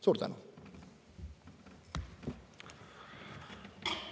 Suur tänu!